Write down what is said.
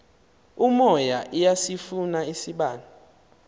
umoya iyasifuna isibane